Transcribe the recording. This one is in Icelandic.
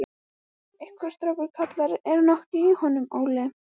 Einhver strákur kallar: Er nokkuð í honum, Óli?